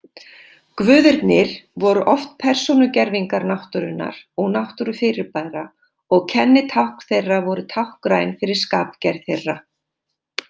Guðirnir voru oft persónugervingar náttúrunnar og náttúrufyrirbæra og kennitákn þeirra voru táknræn fyrir skapgerð þeirra.